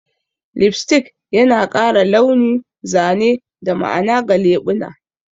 Lipstick yana ƙara launi, zane, da ma'ana ga leɓuna